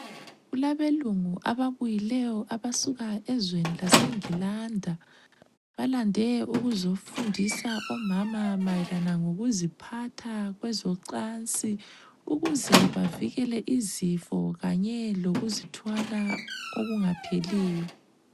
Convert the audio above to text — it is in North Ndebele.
Kulabelungu ababuyile abasuka ezweni lase Englanda .Balande ukuzofundisa omama mayelana ngokuziphatha kwezocansi ukuze bevikele izifo kanye lokuzithwala okungapheliyo.